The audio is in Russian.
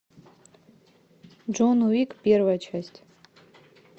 джон уик первая часть